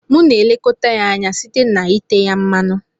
Mụ na elekọta ya anya site na ite ya mmanụ.